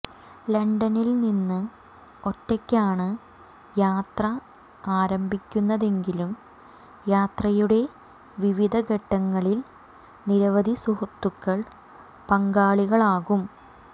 ലണ്ടനിൽനിന്ന് ഒറ്റയ്ക്കാണ് യാത്ര ആരംഭിക്കുന്നതെങ്കിലും യാത്രയുടെ വിവിധ ഘട്ടങ്ങളിൽ നിരവധി സുഹൃത്തുക്കൾ പങ്കാളികളാകും